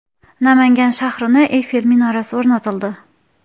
Namangan shahriga Eyfel minorasi o‘rnatildi.